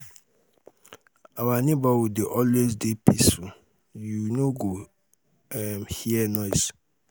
our neighborhood dey always dey peaceful you um no um go um hear noise.